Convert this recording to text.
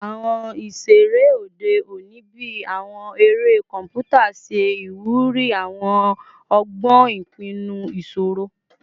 Awọn iṣere ode oni bii awọn ere kọnputa ṣe iwuri awọn ọgbọn ipinnu iṣoro